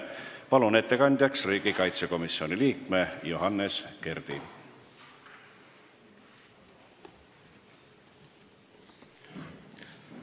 Palun ettekandeks kõnetooli riigikaitsekomisjoni liikme Johannes Kerdi!